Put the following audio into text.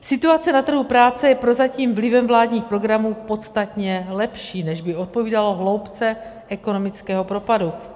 Situace na trhu práce je prozatím vlivem vládních programů podstatně lepší, než by odpovídalo hloubce ekonomického propadu.